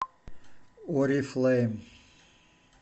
орифлэйм